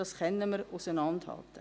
Das können wir auseinanderhalten.